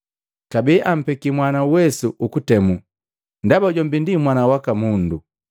Kabee ampeki Mwana uwesu ukutemu, ndaba jombi ndi Mwana waka Mundu.